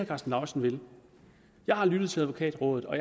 karsten lauritzen vil jeg har lyttet til advokatrådet og